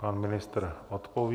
Pan ministr odpoví.